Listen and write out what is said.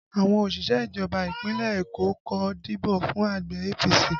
Àwọn òṣìṣẹ́ ìjọba Ìpínlẹ̀ Eko kò dìbò fún ẹgbẹ́ APC